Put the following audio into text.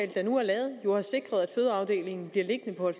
der nu er lavet jo har sikret at fødeafdelingen bliver liggende på